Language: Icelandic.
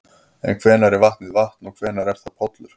En hvenær er vatnið vatn og hvenær er það pollur?